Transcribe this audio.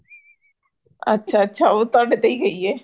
ਅੱਛਾ, ਅੱਛਾ ਉਹ ਤੁਹਾਡੇ ਤੇ ਹੀ ਗਈ ਹੇ |